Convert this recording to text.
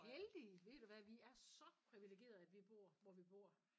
Heldige ved du hvad vi er så privilegerede at vi bor hvor vi bor